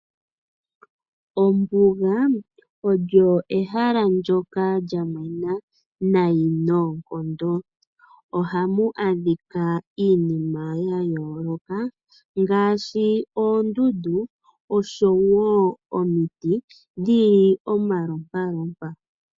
Ombuga olyo ehala ndyoka lyamwena nayi noonkondo ohamu adhika iinima ya yooloka ngaashi oondundu nosho wo omiti dhi li omalompalompa.